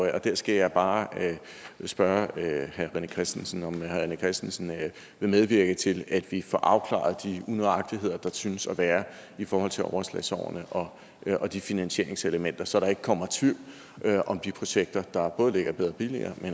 af der skal jeg bare spørge herre rené christensen om herre rené christensen vil medvirke til at vi får afklaret de unøjagtigheder der synes at være i forhold til overslagsårene og og de finansieringselementer så der ikke kommer tvivl om de projekter der ligger i bedre og billigere